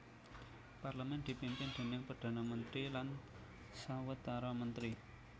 Parlemen dipimpin déning Perdana Mentri lan sawetara mentri